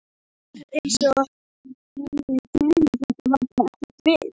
Það var eins og henni kæmi þetta bara ekkert við.